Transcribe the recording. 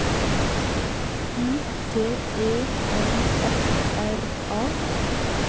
U T E N F R A